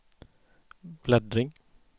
bläddring